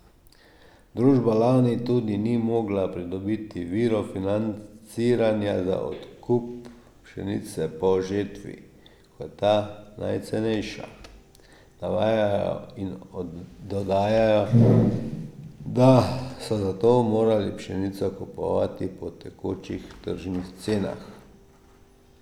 Družba lani tudi ni mogla pridobiti virov financiranja za odkup pšenice po žetvi, ko je ta najcenejša, navajajo in dodajajo, da so zato morali pšenico kupovati po tekočih tržnih cenah.